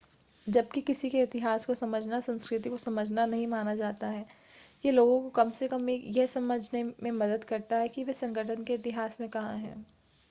जब कि किसी के इतिहास को समझना संस्कृति को समझना नहीं माना जाता है यह लोगों को कम से कम यह समझने में मदद करता है कि वे संगठन के इतिहास में कहां हैं